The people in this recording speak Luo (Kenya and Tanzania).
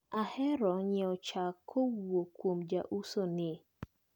Aheroga nyiewo chak kowuok kuom jauso ni.